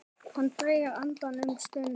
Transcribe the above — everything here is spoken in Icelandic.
Hann dregur andann um stund.